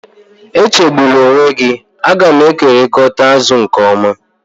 Echegbula onwe gị, a ga m ekekọrịta azụ nke ọma